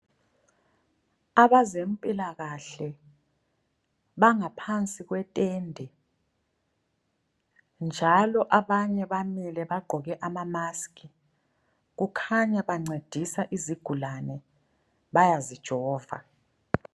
Abazempilakahle bangaphansi kwe tende. Njalo abanye bamile bagqoke ama maskhi. Kukhanya bancedisa izigulane bayazi jova.